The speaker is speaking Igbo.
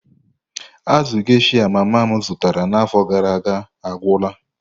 Azụ geysha mama m zụtara n'afọ gara aga agwụla.